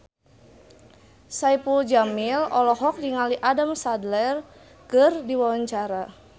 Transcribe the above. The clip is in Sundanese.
Saipul Jamil olohok ningali Adam Sandler keur diwawancara